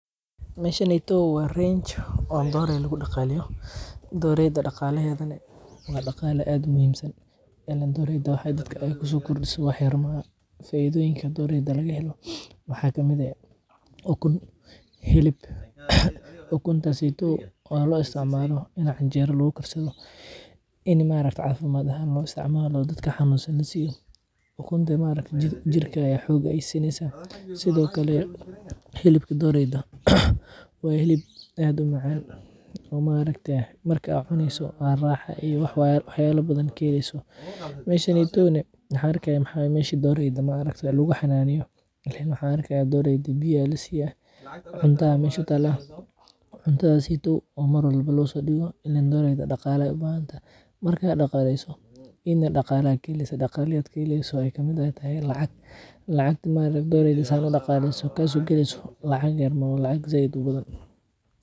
Meshanaydo wa range dooray lagu daqaleyo. Doreyda daqalaheed na aya daqala aad u muhiimsan ilan dooreyda waxay daadka ay kusokordiso waxa yar maaha faidhoyinka dooreyda laga helo waxa kamid aah; ukun, xilib. Ukuntasaydo oo loo isticmalo in ay cinjeero lagukarsadho in maarakte cafimaad ahaan loo isticmalo daadka xanusaan lasiyo ukunta maarkate jiirka ayey xoog sinaysa. Sidhokale xilibkaa dooreyda waa xiliib aad u maacan oo maarakte marka aad cunayso waa raxa iyo waxa yala badan aad kahelayso. Meshanyedo na waxa arkaya wa mesha doreyda lagu xananiyo waxa arkaya dooreydo biya aya lasiya cunta aa mesha utala cuntadhaseydo oo maar walba losodibo ileen dooreydo daqala ayey u bahanatahy marka daqalayso idhna daqala ayaa kaheleysa. Daqala aad kaheleyso ay kamid tahay lacag; lacag ta maarktaye doreyda marka safican u daqalayso kasogakeyso lacag yar maah wa lacag zaid ubadhan.